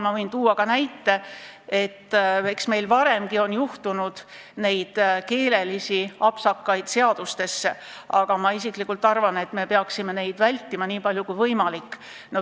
Ma võin tuua ka näite, et eks meil ole varemgi sattunud seadustesse keelelisi apsakaid, aga ma isiklikult arvan, et me peaksime neid vältima nii palju kui võimalik.